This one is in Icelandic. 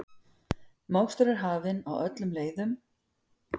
Mokstur er hafin á öllum leiðum